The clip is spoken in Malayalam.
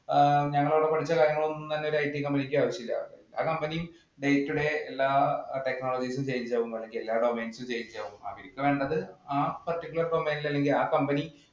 ആ ഞങ്ങളവിടെ പഠിച്ച കാര്യങ്ങൾ ഒന്നും തന്നെ IT company ഇക്ക് ആവശ്യമില്ല. ആ company day today എല്ലാ technologies ഉം change ആകും. എല്ലാ domains ഉം change ആകും. അവര്ക്ക് വേണ്ടത് ആ particular domains അല്ലെങ്കില്‍ ആ company